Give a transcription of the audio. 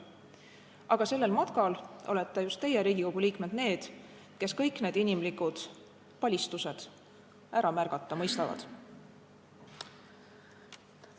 Aga sellel matkal olete just teie, Riigikogu liikmed, need, kes kõik need inimlikud palistused ära märgata mõistavad.